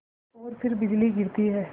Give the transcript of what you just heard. और फिर बिजली गिरती है